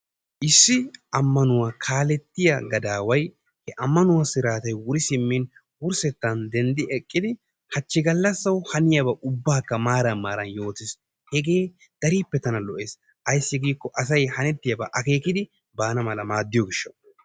Issi ammanuwa kaalettiya gadaway ammanuwa siraatay wuri simmin wurssettaan dendi eqqidi hachchi gallasawu haniyaba ubbawu maaran maaran yoottiis. Hagee darippe tana lo'ees. Ayssi giikko asay hanetiyabwu akeekidi baana mala maadiyo gishshawu